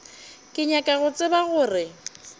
ke nyaka go tseba gore